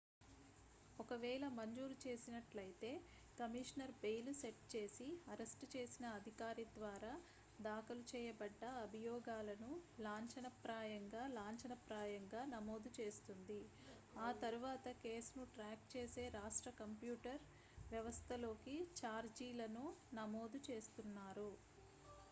ఒకవేళ మంజూరు చేసినట్లయితే కమిషనర్ బెయిల్ సెట్ చేసి అరెస్ట్ చేసిన అధికారి ద్వారా దాఖలు చేయబడ్డ అభియోగాలను లాంఛనప్రాయంగా లాంఛనప్రాయంగా నమోదు చేస్తుంది ఆ తర్వాత కేసు ను ట్రాక్ చేసే రాష్ట్ర కంప్యూటర్ వ్యవస్థలోకి ఛార్జీలను నమోదు చేస్తున్నారు